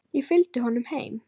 Ég fylgdi honum heim.